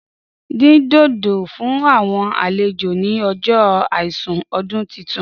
Dín dòdò fún àwọn àlejò ni ọjọ àìsùn ọdún titun.